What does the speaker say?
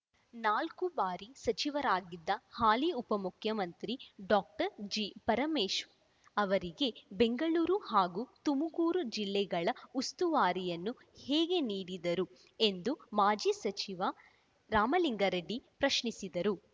ನಾಲ್ಕು ಬಾರಿ ಸಚಿವರಾಗಿದ್ದ ಹಾಲಿ ಉಪಮುಖ್ಯಮಂತ್ರಿ ಡಾಕ್ಟರ್ ಜಿ ಪರಮೇಶ್ ಅವರಿಗೆ ಬೆಂಗಳೂರು ಹಾಗೂ ತುಮಕೂರು ಜಿಲ್ಲೆಗಳ ಉಸ್ತುವಾರಿಯನ್ನು ಹೇಗೆ ನೀಡಿದರು ಎಂದು ಮಾಜಿ ಸಚಿವ ರಾಮಲಿಂಗಾರೆಡ್ಡಿ ಪ್ರಶ್ನಿಸಿದರು